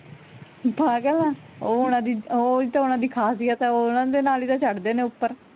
ਪਾਗਲ ਆਂ ਓਹ ਓਹਨਾ ਦੀ ਓਹੀ ਤਾਂ ਉਹਨਾਂ ਦੀ ਖ਼ਾਸੀਅਤ ਆ ਉਹ ਉਹਨਾਂ ਦੇ ਨਾਲ ਹੀ ਤਾਂ ਚੜ ਦੇ ਨੇ ਉੱਪਰ